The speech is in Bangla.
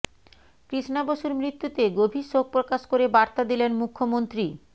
কৃষ্ণা বসুর মৃত্যুতে গভীর শোকপ্রকাশ করে বার্তা দিলেন মুখ্যমন্ত্রী